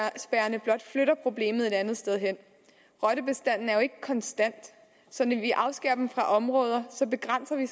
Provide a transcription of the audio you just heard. blot flytter problemet et andet sted hen rottebestanden er jo ikke konstant så når vi afskærer dem fra områder begrænser vi